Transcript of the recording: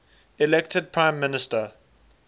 elected prime minister